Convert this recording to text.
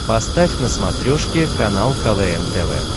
поставь на смотрешке канал квн тв